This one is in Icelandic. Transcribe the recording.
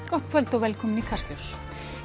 gott kvöld og velkomin í Kastljós